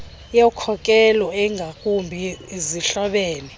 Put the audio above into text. yokhokelo engakumbi zihlobene